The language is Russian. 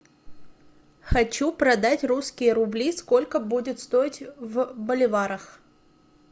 хочу продать русские рубли сколько будет стоить в боливарах